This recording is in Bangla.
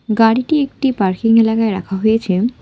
গাড়িটি একটি পার্কিং এলাকায় রাখা হয়েছে।